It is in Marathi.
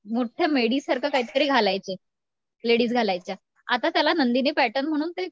मोठ्या मेडी सारखं काहीतरी घालायचे, लेडीज घालायच्या आता त्याला नंदिनी पॅटर्न म्हणून ते